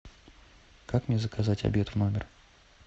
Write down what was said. как мне заказать обед в номер